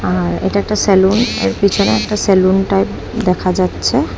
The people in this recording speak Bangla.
আর এটা একটা স্যালুন আর পিছনে একটা স্যালুন টাইপ দেখা যাচ্ছে।